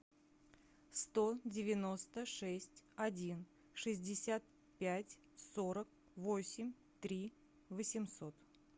сто девяносто шесть один шестьдесят пять сорок восемь три восемьсот